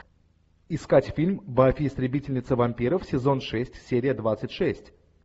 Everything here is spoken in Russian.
искать фильм баффи истребительница вампиров сезон шесть серия двадцать шесть